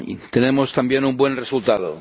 Tenemos también un buen resultado.